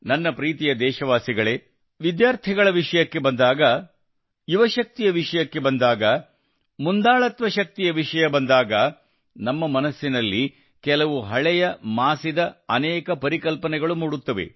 ನನ್ನ ಪ್ರೀತಿಯ ದೇಶವಾಸಿಗಳೇ ವಿದ್ಯಾರ್ಥಿಗಳ ವಿಷಯಕ್ಕೆ ಬಂದಾಗ ಯುವಶಕ್ತಿಯ ವಿಷಯ ಬಂದಾಗ ಮುಂದಾಳತ್ವ ಶಕ್ತಿಯ ವಿಷಯ ಬಂದಾಗ ನಮ್ಮ ಮನಸ್ಸಿನಲ್ಲಿ ಕೆಲವು ಹಳೆಯ ಮಾಸಿದ ಅನೇಕ ಪರಿಕಲ್ಪನೆಗಳು ಮೂಡುತ್ತವೆ